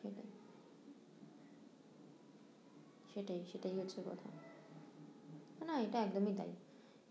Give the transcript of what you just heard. সেটাই সেটাই সেটাই হচ্ছে কথা না না এটা একদমই তাই